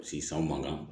Sisan mankan